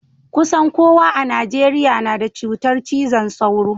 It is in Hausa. Kusan kowa a Najeriya na da cutar cizon sauro.